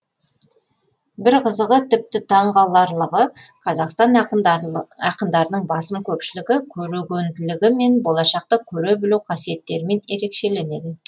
бір қызығы тіпті таңқарлығы қазақтан ақындарының басым көпшілігі көрегенділігі мен болашақты көре білу қасиеттерімен ерекшеленеді